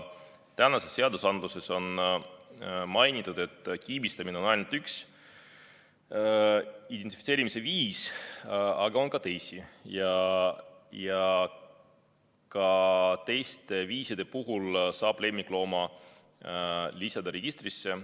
Tänases seaduses on mainitud, et kiibistamine on ainult üks identifitseerimise viis, aga on ka teisi viise ja nende viiside puhul saab lemmiklooma lisada registrisse.